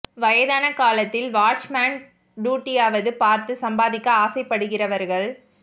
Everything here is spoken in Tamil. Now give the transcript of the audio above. வயதான காலத்தில் வாட்ச் மேன் டூட்டியாவது பார்த்து சம்பாதிக்க ஆசைப்படுகிறவர்கள்